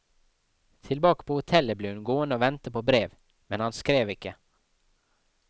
Tilbake på hotellet ble hun gående og vente på brev, men han skrev ikke.